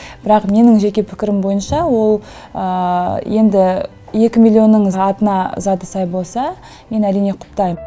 бірақ менің жеке пікірім бойынша ол енді екі миллионның атына заты сай болса мен әрине құптайм